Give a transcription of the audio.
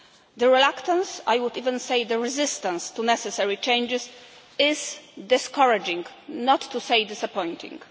The reluctance I would even say the resistance to necessary changes is discouraging, not to say disappointing.